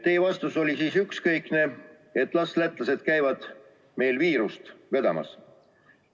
Teie vastus oli siis ükskõikne, et las lätlased käivad meile viirust vedamas.